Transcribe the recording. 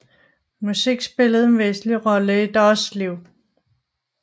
Musik spillede en væsentlig rolle i deres liv